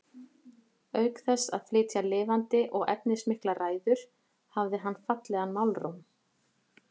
Auk þess að flytja lifandi og efnismiklar ræður hafði hann fallegan málróm.